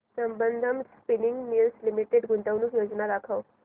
Sambandam spinning mills limited गुंतवणूक योजना दाखव